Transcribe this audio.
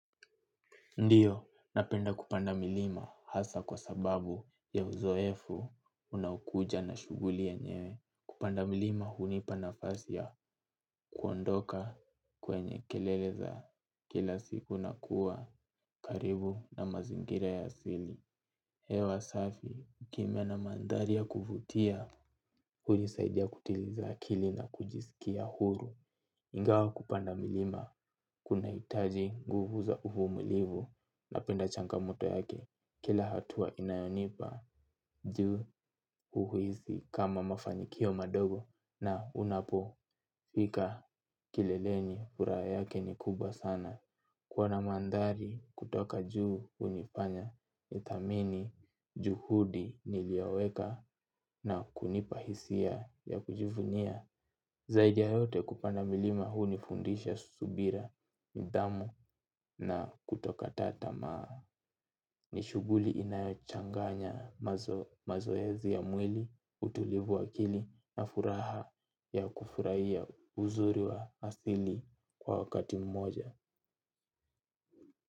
Ndiyo, napenda kupanda milima hasa kwa sababu ya uzoefu unaokuja na shughuli yenyewe. Kupanda milima hunipa nafasi ya kuondoka kwenye kelele za kila siku na kuwa karibu na mazingira ya asili. Hewa safi, kimya na mandhari ya kuvutia, hulisaidia kutiliza akili na kujisikia huru. Ingawa kupanda milima, kunahitaji nguvu za uvumulivu napenda changamoto yake. Kila hatua inayonipa, juu huhisi kama mafanikio madogo na unapo fika kileleni furaha yake ni kubwa sana. Kuwa na mandhari kutoka juu hunifanya, nithamini, juhudi nilioweka na kunipa hisia ya kujivunia. Zaidi ya yote kupanda milima hunifundisha subira nidhamu na kutokata tamaa ni shughuli inayochanganya mazoezi ya mwili utulivu wa akili na furaha ya kufurahia uzuri wa asili kwa wakati mmoja.